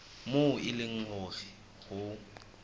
moo e leng hore ho